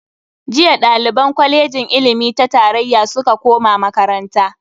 Jiya daliban kwalejin ilimi ta tarayya suka koma makaranta.